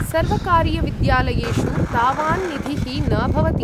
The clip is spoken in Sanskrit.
सर्वकारीयविद्यालयेषु तावान् निधिः न भवति।